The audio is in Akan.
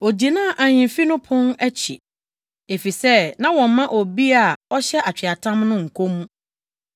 Ogyinaa ahemfi no pon akyi, efisɛ na wɔmma obi a ɔhyɛ atweaatam no nkɔ mu.